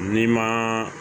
N'i ma